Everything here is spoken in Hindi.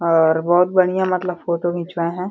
और बहुत बढ़ियां मतलब फोटो घिचवाएं हैं।